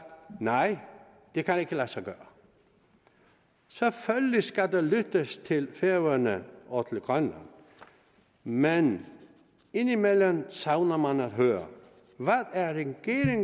nej det kan ikke lade sig gøre selvfølgelig skal der lyttes til færøerne og til grønland men indimellem savner man at høre